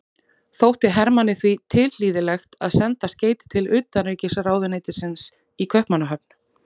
Þótti Hermanni því tilhlýðilegt að senda skeyti til utanríkisráðuneytisins í Kaupmannahöfn.